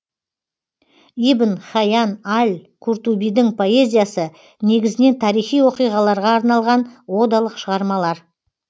ибн хайян аль куртубидің поэзиясы негізінен тарихи оқиғаларға арналған одалық шығармалар